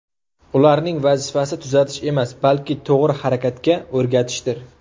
Ularni vazifasi tuzatish emas, balki to‘g‘ri harakatga o‘rgatishdir.